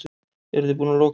Eruði búin að loka?